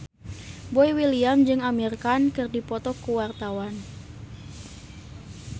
Boy William jeung Amir Khan keur dipoto ku wartawan